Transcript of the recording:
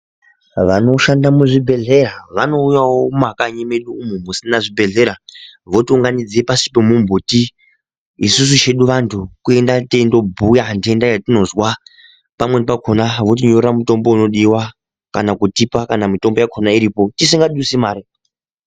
Vanoshanda mu zvibhedhlera vanouyawo muma kanyi mwedumwo kusina zvi bhedhlera voti unganidza pasi pe mu mbuti isusu chedu vantu kuenda teindo bhuya tenda yatinozwa pakweni pakona voti nyorera mitombo inodiwa kana kutipa kana mitombo yacho iripo tisinga dusi mari.